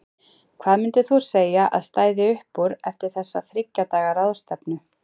Hvað myndir þú segja að stæði upp úr eftir þessa þriggja daga ráðstefnu?